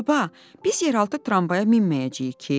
Baba, biz yeraltı tramvaya minməyəcəyik ki?